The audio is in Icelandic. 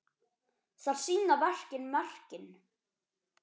Þar sýna verkin merkin.